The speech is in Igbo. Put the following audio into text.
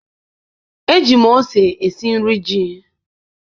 eji m ose esi nri ji.